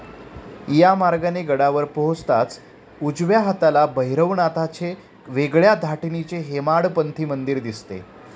या मार्गाने गडावर पोहोचताच उजव्या हाताला भैरवनाथाचे वेगळ्या धाटणीचे हेमाडपंथी मंदिर दिसते.